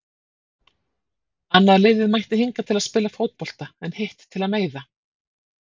Annað liðið mætti hingað til að spila fótbolta en hitt til að meiða.